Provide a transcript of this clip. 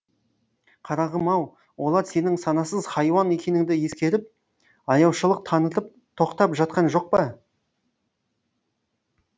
қарағым ау олар сенің санасыз хайуан екеніңді ескеріп аяушылық танытып тоқтап жатқан жоқ па